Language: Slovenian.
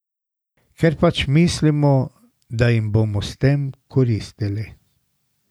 Ker pač mislimo, da jim bomo s tem koristili.